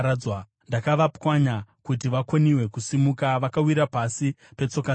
Ndakavapwanya kuti vakoniwe kusimuka; vakawira pasi petsoka dzangu.